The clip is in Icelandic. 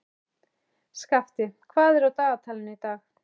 Skafti, hvað er á dagatalinu í dag?